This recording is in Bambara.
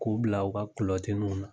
K'u bila u ka kulɔtiniw na.